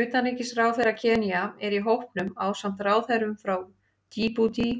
Utanríkisráðherra Kenía er í hópnum ásamt ráðherrum frá Djíbútí,